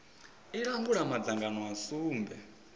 i langula madzangano a sumbe